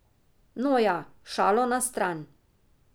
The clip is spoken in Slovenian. No ja, šalo na stran.